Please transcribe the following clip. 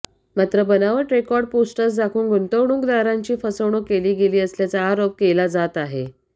मात्र बनावट record posters दाखवून गुंतवणूकदारांची फसवणूक केली गेली असल्याच आरोप एला जात आहे